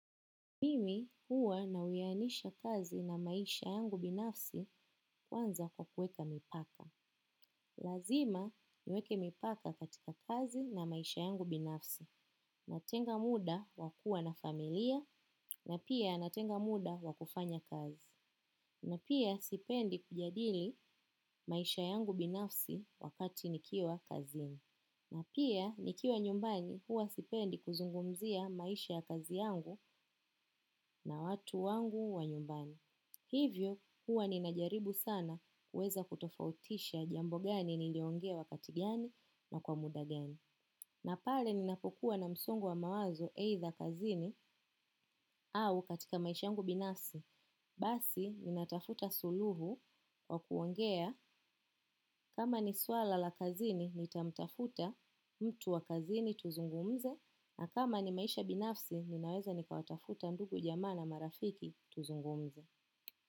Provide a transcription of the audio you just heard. Mimi huwa nauyanisha kazi na maisha yangu binafsi kwanza kwa kuweka mipaka. Lazima niweke mipaka katika kazi na maisha yangu binafsi. Natenga muda wa kuwa na familia na pia natenga muda wa kufanya kazi. Na pia sipendi kujadili maisha yangu binafsi wakati nikiwa kazini. Natenga muda wa kuwa na familia na pia natenga muda wa kufanya kazi. Hivyo huwa ninajaribu sana kuweza kutofautisha jambo gani niliongea wakati gani na kwa muda gani. Na pale ninapokuwa na msongo wa mawazo aidha kazini au katika maisha yangu binafsi basi ninatafuta suluhu wa kuongea. Kama ni swala la kazini, nitamtafuta mtu wa kazini tuzungumze. Na kama ni maisha binafsi, ninaweza nikawatafuta ndugu jamana marafiki tuzungumze.